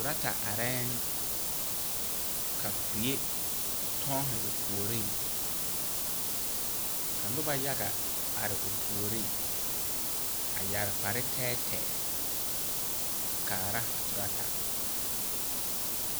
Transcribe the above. Turata are yɛŋ ka kuɛ toɔne o puori ka noba yaga toge o puori a yeere kpare tɛɛtɛɛ a kaara a turata.